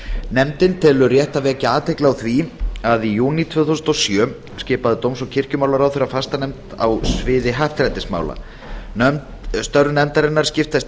nefndin telur rétt að vekja athygli á því að í júní tvö þúsund og sjö skipaði dóms og kirkjumálaráðherra fastanefnd á sviði happdrættismála störf nefndarinnar skiptast